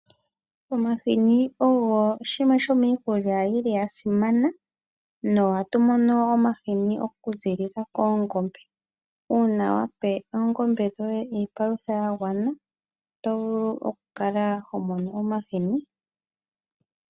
Omahini ogo oshinima shimwe shomiikulya yili yasimana nohatu mono omahini oku zilila koongombe. Una wapa oongombe dhoye iipalutha ya gwana oto vulu oku kala homono omahini.